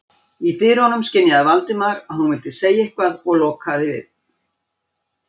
Í dyrunum skynjaði Valdimar að hún vildi segja eitthvað og dokaði við.